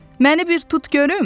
Məni bir tut görüm?